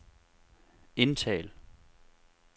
indtal